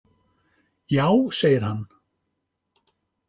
Já segir hann.